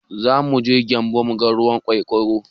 Zamuje gyambu muga ruwan ƙanƙara